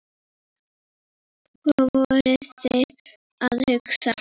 Hvað voru þeir að hugsa?